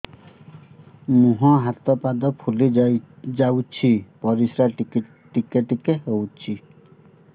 ମୁହଁ ହାତ ପାଦ ଫୁଲି ଯାଉଛି ପରିସ୍ରା ଟିକେ ଟିକେ ହଉଛି